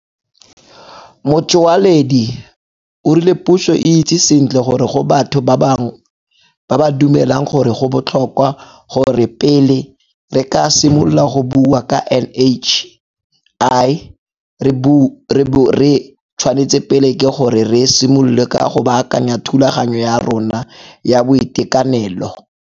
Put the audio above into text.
Motsoaledi o rile puso e itse sentle gore go batho bangwe ba ba dumelang gore go botlhokwa gore pele re ka simolola go bua ka NHI re bo re tshwanetse pele ke gore re simolole ka go baakanya thulaganyo ya rona ya boitekanelo.